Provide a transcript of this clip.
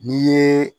N'i ye